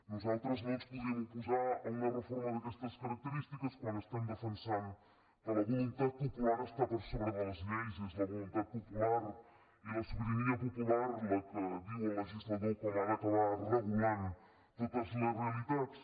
nosaltres no ens podríem oposar a una reforma d’aquestes característiques quan defensem que la voluntat popular està per sobre de les lleis és la voluntat popular i la sobirania popular la que diu al legislador com ha d’acabar regulant totes les realitats